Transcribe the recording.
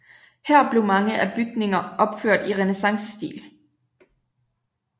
Her blev mange af bygninger opført i renæssancestil